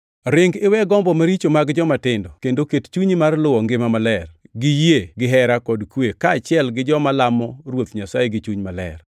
Ring iwe gombo maricho mag jomatindo kendo ket chunyi mar luwo ngima maler, gi yie, gihera, kod kwe, kaachiel gi joma lamo Ruoth Nyasaye gi chuny maler.